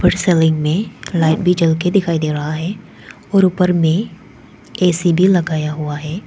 Ceiling में light भी जल के दिखाई दे रहा है और ऊपर में ए_सी भी लगाया हुआ है।